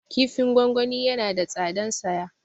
Kifin gwangwani yana da tsadan saya